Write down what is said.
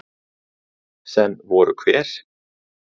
Heiðar: Sem voru hver?